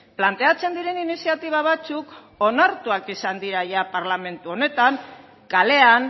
planteatzen diren iniziatiba batzuk onartuak izan dira ia parlamentu honetan kalean